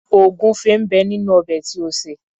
Ògúnfẹ ń bẹ nínú ọbẹ̀ tí o sè.